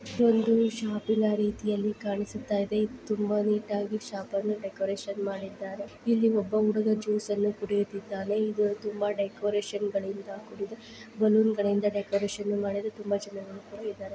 ಇದು ಒಂದು ಶಾಪಿನ ರೀತಿಯಲ್ಲಿ ಕಾಣಿಸುತ್ತಿದೆ ತುಂಬಾ ನೀಟಾಗಿ ಶಾಪನ ಡೆಕೋರೇಷನ್ ಮಾಡಿದರೆ ಇಲ್ಲಿ ಒಬ್ಬ ಹುಡುಗ ಒಬ್ಬ ಹುಡುಗ ಜ್ಯೂಸ್ ಅನ್ನು ಕುಡಿಯುತ್ತಿದ್ದಾನೆ ತುಂಬಾ ಡೆಕೋರೇಷನ್ ಬಲೂನಿಂದ ಮಾಡಿದ್ದಾರೆ.